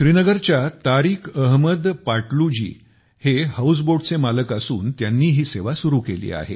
श्रीनगरच्या तारिक अहमद पातलू जी हे हाउस बोटचे मालक असून त्यानी ही सेवा सुरु केली